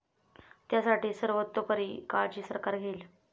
त्यासाठी सर्वतोपरी काळजी सरकार घेईल.